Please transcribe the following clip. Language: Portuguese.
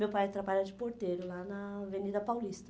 Meu pai trabalha de porteiro lá na Avenida Paulista.